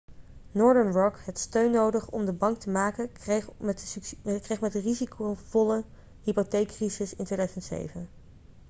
northern rock had steun nodig omdat de bank te maken kreeg met de risicovolle hypotheekcrisis in 2007